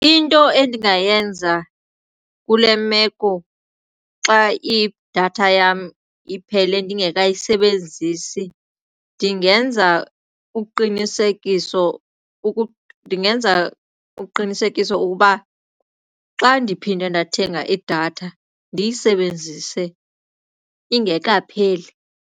Into endingayenza kule meko xa idatha yam iphele ndingekayisebenzisi ndingenza uqinisekiso ukuba xa ndiphinde ndathenga idatha ndiyisebenzise ingekapheli.